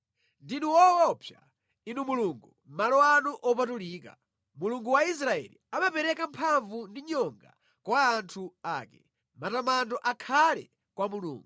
Ndinu woopsa, Inu Mulungu mʼmalo anu opatulika; Mulungu wa Israeli amapereka mphamvu ndi nyonga kwa anthu ake. Matamando akhale kwa Mulungu!